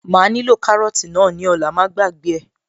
Màá nílò kárọ́tì náà ní ọ̀la, má gbàgbé ẹ̀